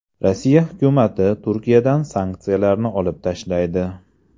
Rossiya hukumati Turkiyadan sanksiyalarni olib tashlaydi.